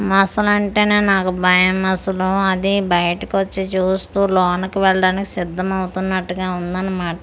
మొసలి అంటేనే నాకు భయం అసలు అది బయటికి వాచీ చూస్తూ లోనికి వెళ్ళడానికి సిద్ధం అవుతున్నట్టుగా ఉందన్నమాట.